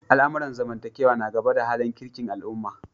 Al'amuran zamantakewa na gaba da halin kirkin al'umma.